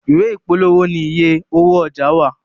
Ìwé ìpolówó ní ìyè owó ọjà wá.